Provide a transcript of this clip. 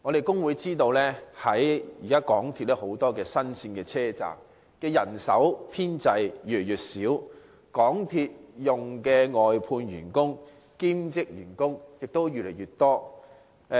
工會知道現時港鐵有很多新路線車站，但港鐵人手編制越來越少，但外判員工和兼職員工則越來越多。